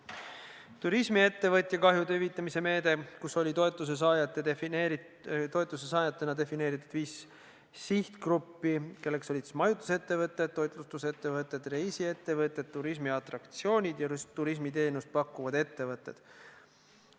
Edasi, turismiettevõtja kahjude hüvitamise meede, kus oli toetuse saajatena defineeritud viis sihtgruppi, kelleks olid siis majutusettevõtted, toitlustusettevõtted, reisiettevõtted, turismiatraktsioonid ja turismiteenust pakkuvad ettevõtted.